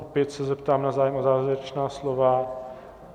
Opět se zeptám na zájem o závěrečná slova.